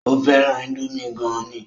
Ó fẹ́ràn índómì gan ni